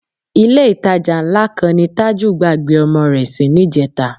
Ilé-ìtajà ńlá kan ni Tájù gbàgbé ọmọ rẹ sí níjẹta